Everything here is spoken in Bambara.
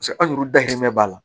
anguru dahirimɛ b'a la